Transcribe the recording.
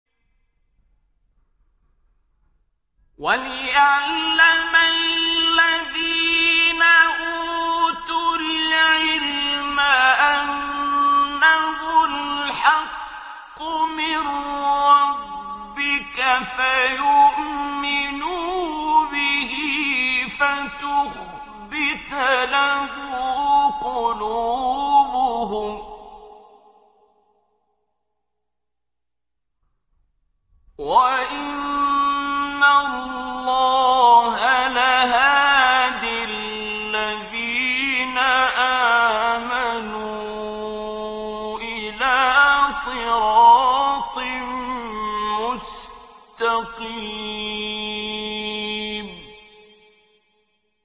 وَلِيَعْلَمَ الَّذِينَ أُوتُوا الْعِلْمَ أَنَّهُ الْحَقُّ مِن رَّبِّكَ فَيُؤْمِنُوا بِهِ فَتُخْبِتَ لَهُ قُلُوبُهُمْ ۗ وَإِنَّ اللَّهَ لَهَادِ الَّذِينَ آمَنُوا إِلَىٰ صِرَاطٍ مُّسْتَقِيمٍ